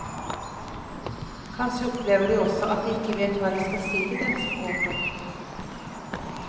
Kanskje opplever de også at de ikke vet hva de skal si til den som gråter.